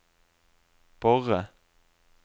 Borre